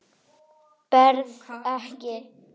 Berð ekki.